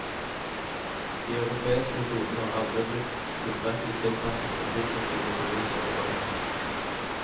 De europeiske metodene har aldri blitt tilstrekkelig tilpasset den tropiske naturs sårbarhet.